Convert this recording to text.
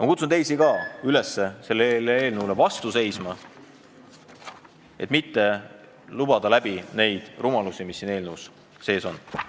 Ma kutsun ka teisi üles sellele eelnõule vastu seisma, et mitte lubada läbi lasta neid rumalusi, mis siin eelnõus sees on.